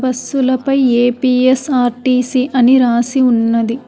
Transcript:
బస్సులపై A P S RTC అని రాసి ఉన్నది.